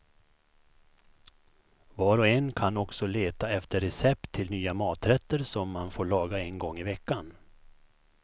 Var och en kan också leta efter recept till nya maträtter som man får laga en gång i veckan.